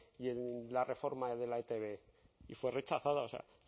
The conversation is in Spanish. y en la reforma de la etb y fue rechazada o sea